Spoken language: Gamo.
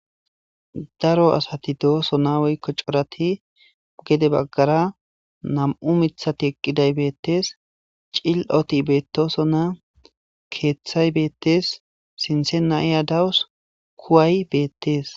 daro asati dooso naweykko corati gede baggara nam7u mithati eqqiday beettes cil7oti beetoso na keeththay beettes sintse na iya dawus kuway beettees